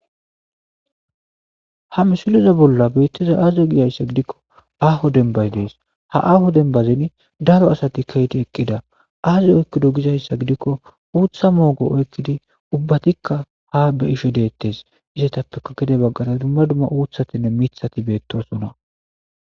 ha misilezan bolla beettiza aze gidayssa gidikko aho denbaz dees ha aaho denbazin daro asati kayeti eqqida aazi oykkido gizayssa gidikko uutha moogo oykkidi ubbatikka ha be isho deettes.izetappeka gide baggara dumma dumma uuthatinne mithati beettosona.